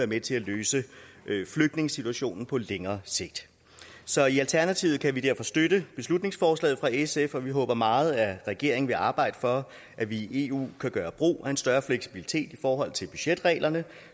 med til at løse flygtningesituationen på længere sigt så i alternativet kan vi derfor støtte beslutningsforslaget fra sf og vi håber meget at regeringen vil arbejde for at vi i eu kan gøre brug af en større fleksibilitet i forhold til budgetreglerne